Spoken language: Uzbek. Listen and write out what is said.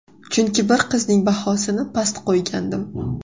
Chunki bir qizning bahosini past qo‘ygandim.